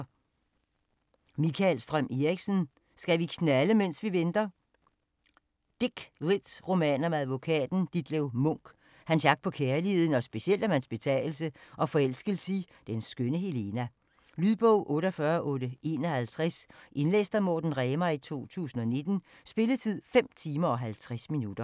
Strøm Eriksen, Mikael: Skal vi knalde, mens vi venter? Dick lit-roman om advokaten Ditlev Munch, hans jagt på kærligheden og specielt om hans betagelse af og forelskelse i den skønne Helena. Lydbog 48851 Indlæst af Morten Remar, 2019. Spilletid: 5 timer, 50 minutter.